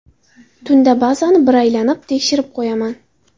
Tunda bazani bir aylanib, tekshirib qo‘yaman.